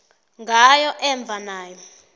ngayo emva nayo